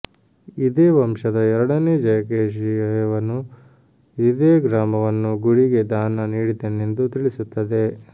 ಇದೇ ವಂಶದ ಎರಡನೆ ಜಯಕೇಶಿ ದೇವನು ಇದೇ ಗ್ರಾಮವನ್ನು ಗುಡಿಗೆ ದಾನ ನೀಡಿದನೆಂದು ತಿಳಿಸುತ್ತದೆ